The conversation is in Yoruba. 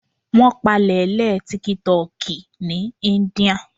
Wón pàlè lé tíkítọki ní íńdíà